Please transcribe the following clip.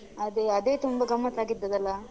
ಅದೇ, ಅದೇ ತುಂಬಾ ಗಮತ್ತ್ ಆಗಿದದ್ದು ಅಲ.